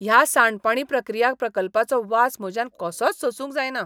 ह्या सांडपाणी प्रक्रिया प्रकल्पाचो वास म्हज्यान कसोच सोसूंक जायना.